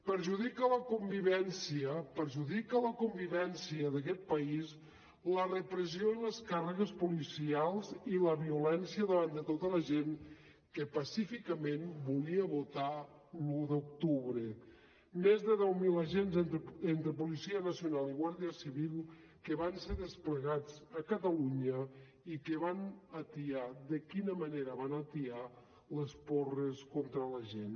perjudica la convivència perjudica la convivència d’aquest país la repressió i les càrregues policials i la violència davant de tota la gent que pacíficament volia votar l’un d’octubre més de deu mil agents entre policia nacional i guàrdia civil que van ser desplegats a catalunya i que van atiar de quina manera van atiar les porres contra la gent